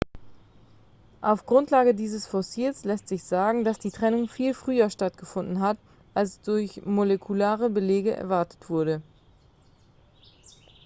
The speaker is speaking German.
auf grundlage dieses fossils lässt sich sagen dass die trennung viel früher stattgefunden hat als durch molekulare belege erwartet wurde